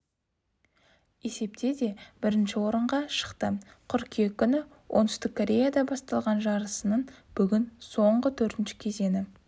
есепте де бірінші орынға шықты қыркүйек күні оңтүстік кореяда басталған жарысының бүгін соңғы төртінші кезеңі